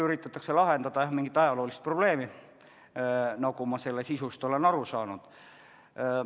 Üritatakse lahendada mingisugust ajaloolist probleemi, nagu ma selle sisust olen aru saanud.